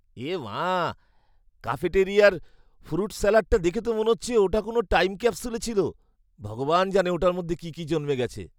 এ মা! ক্যাফেটেরিয়ার ফ্রুট স্যালাডটা দেখে তো মনে হচ্ছে ওটা কোনও টাইম ক্যাপসুলে ছিল। ভগবান জানে ওটার মধ্যে কী কী জন্মে গেছে!